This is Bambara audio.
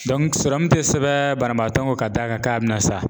tɛ sɛbɛn banabaatɔ kun, ka da kan ka bɛ na sa.